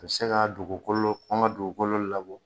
Ka se ka dugukolo, an ga dugukolo labɔ